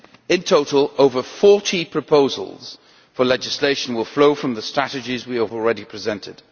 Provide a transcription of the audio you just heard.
In total, over 40 proposals for legislation will flow from the strategies we have already presented.